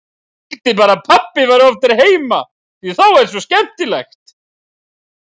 Ég vildi bara að pabbi væri oftar heima því þá er svo skemmtilegt.